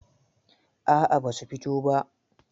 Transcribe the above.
A'a ba su fito ba.